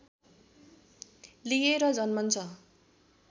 लिएर जन्मन्छ